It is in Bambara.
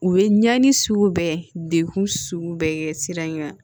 U ye ɲani sugu bɛɛ degun sugu bɛɛ kɛ sira in kan